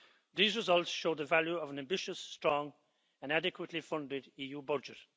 These results show the value of an ambitious, strong and adequately funded EU budget.